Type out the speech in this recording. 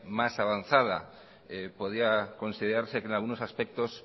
más avanzada podía considerarse que en algunos aspectos